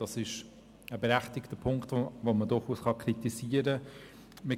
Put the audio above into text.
Dies ist ein Punkt, den man durchaus kritisieren kann.